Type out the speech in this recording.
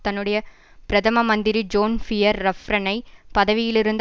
தன்னுடைய பிரதம மந்திரி ஜோன் பியர் ரஃப்ரனை பதவியில் இருந்து